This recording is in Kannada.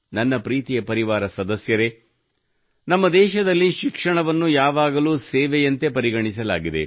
ನನ್ನ ಪ್ರೀತಿಯ ಪರಿವಾರ ಸದಸ್ಯರೇ ನಮ್ಮ ದೇಶದಲ್ಲಿ ಶಿಕ್ಷಣವನ್ನು ಯಾವಾಗಲೂ ಸೇವೆಯಂತೆ ಪರಿಗಣಿಸಲಾಗಿದೆ